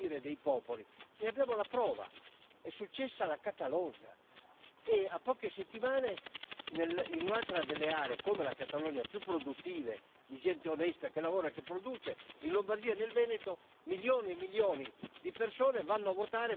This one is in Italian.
Ne abbiamo la prova è successo alla Catalogna e, a poche settimane, in un'altra delle aree come la Catalogna più produttive, di gente onesta, che lavora e che produce in Lombardia e nel Veneto milioni e milioni di persone vanno a votare, vogliono un referendum.